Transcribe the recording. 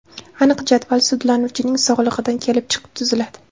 Aniq jadval sudlanuvchining sog‘lig‘idan kelib chiqib tuziladi.